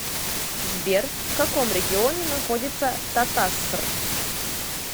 сбер в каком регионе находится татасср